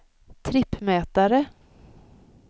trippmätare